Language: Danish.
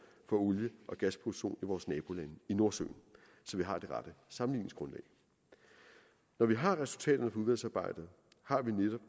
for olie og gasproduktion i vores nabolande i nordsøen så vi har det rette sammenligningsgrundlag når vi har resultaterne udvalgsarbejdet har vi netop